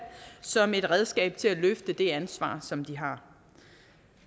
som et redskab til at løfte det ansvar som de har